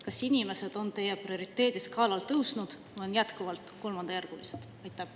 Kas inimesed on teie prioriteediskaalal tõusnud või on nad jätkuvalt kolmandajärgulised?